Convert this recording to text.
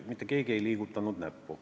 Mitte keegi ei liigutanud näppu.